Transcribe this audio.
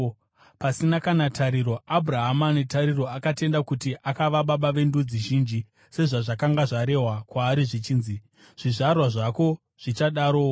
Pasina kana tariro, Abhurahama netariro akatenda uye akava baba vendudzi zhinji, sezvazvakanga zvarehwa kwaari zvichinzi, “Zvizvarwa zvako zvichadarowo.”